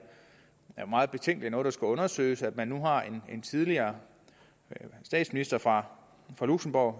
meget betænkeligt noget der skal undersøges at man nu har en tidligere statsminister fra luxembourg